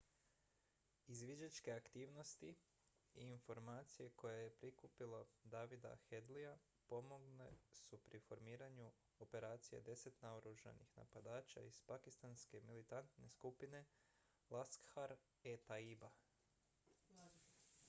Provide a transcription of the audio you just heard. izviđačke aktivnosti i informacije koje je prikupio davida headley pomogle su pri formiranju operacije 10 naoružanih napadača iz pakistanske militantne skupine laskhar-e-taiba